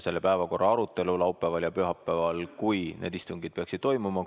Selle päevakorra arutelu on laupäeval ja pühapäeval, kui need istungid peaksid toimuma.